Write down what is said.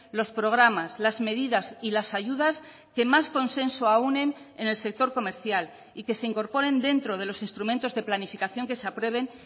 los programas las medidas y las ayudas que más consenso aúnen en el sector comercial y que se incorporen dentro de los instrumentos de planificación que se aprueben